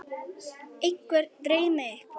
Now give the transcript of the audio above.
einhvern dreymir eitthvað